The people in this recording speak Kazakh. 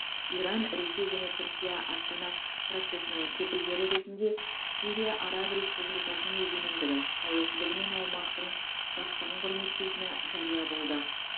иран ресей және түркия астана процесінің кепілгері ретінде сирия араб республикасының егемендігі тәуелсіздігі мен аумақтың тұтастығын құрметтейтіні жария болды